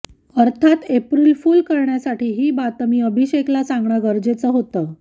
अर्थात April fool करण्यासाठी ही बातमी अभिषेकला सांगणं गरजेचं होतं